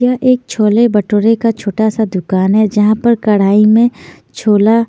यह एक छोले भटूरे का छोटा सा दुकान है जहाँ पर कड़ाई में छोला --